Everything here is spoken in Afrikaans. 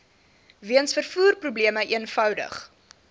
weens vervoerprobleme eenvoudig